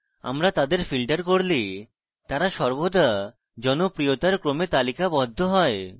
আমরা তাদের filter করলে তারা সর্বদা জনপ্রিয়তার ক্রমে তালিকাবদ্ধ হয়